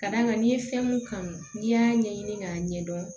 Ka d'a kan n'i ye fɛn mun kanu n'i y'a ɲɛɲini k'a ɲɛdɔn